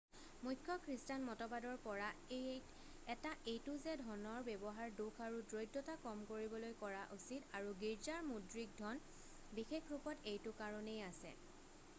মুখ্য খ্ৰীষ্টান মতবাদৰ পৰা এটা এইটো যে ধনৰ ব্যৱহাৰ দুখ আৰু দৰিদ্ৰতা কম কৰিবলৈ কৰা উচিত আৰু গীৰ্জাৰ মুদ্ৰিক ধন বিশেষ ৰূপত এইটো কাৰণেই আছে